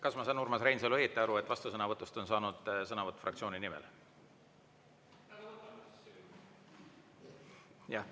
Kas ma saan, Urmas Reinsalu, õieti aru, et vastusõnavõtust on saanud sõnavõtt fraktsiooni nimel?